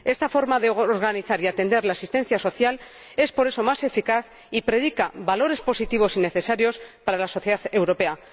Esta forma de organizar y atender la asistencia social es, por eso, más eficaz y predica valores positivos y necesarios para la sociedad europea.